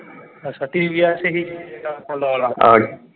ਅੱਛਾ TVS ਸੀ ਜਿਹੜਾ honda ਵਾਲਾ